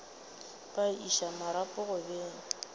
ba iša marapo go beng